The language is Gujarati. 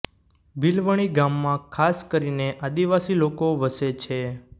બીલવણી ગામમાં ખાસ કરીને આદિવાસી લોકો વસે છે